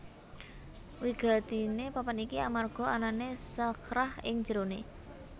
Wigatiné papan iki amarga anané Shakhrah ing jeroné